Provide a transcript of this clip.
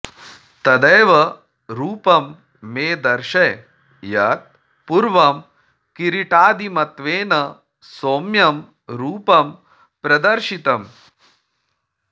तदेव रूपं मे दर्शय यत् पूर्वं किरीटादिमत्त्वेन सौम्यं रूपं प्रदर्शितम्